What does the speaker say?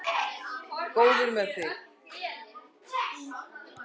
Góður með þig.